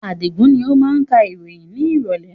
Adigun ni ó máa ka ìròyìn ni ìrọ̀lẹ̀